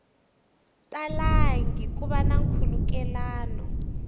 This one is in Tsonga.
talangi ku va na nkhulukelano